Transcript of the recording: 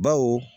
Baw